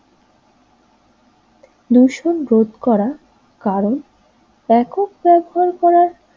ভূষণ রোধ করার কারণ একক ব্যবহার করার